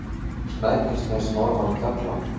Snæfellsnes norðan fjalla.